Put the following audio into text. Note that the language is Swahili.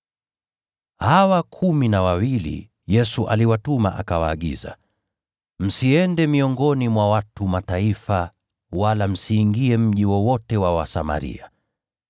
Hawa kumi na wawili, Yesu aliwatuma akawaagiza: “Msiende miongoni mwa watu wa Mataifa, wala msiingie mji wowote wa Wasamaria.